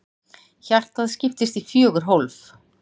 Hjartað skiptist í fjögur hólf.